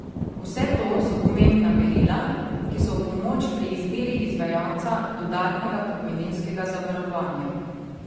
Vse to so pomembna merila, ki so v pomoč pri izbiri izvajalca dodatnega pokojninskega zavarovanja.